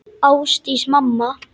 Ásdís mamma.